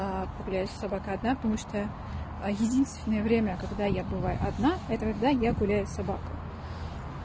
а погуляю с собакой одна потому что единственное время когда я бываю одна это когда я гуляю собака